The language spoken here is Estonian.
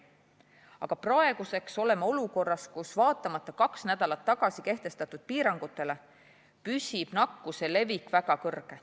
Aga praegu oleme olukorras, kus vaatamata kaks nädalat tagasi kehtestatud piirangutele, püsib nakkuse levik ikkagi väga kõrge.